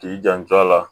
K'i janto a la